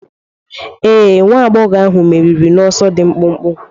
Ee. nwa agbọghọ ahụ meriri n'ọsọ dị mkpụmkpụ.